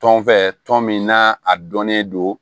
Tɔn fɛ tɔn min na a dɔnnen don